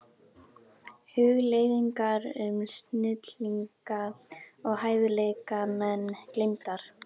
Hugleiðingar um snillinga og hæfileikamenn gleymdar.